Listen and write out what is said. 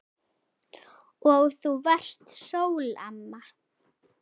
Og þú varst sól, amma.